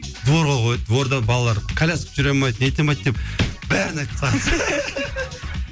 дворға қояды дворда балалар коляска жүре алмайды нете алмайды деп бәрін айтып тастағансың ғой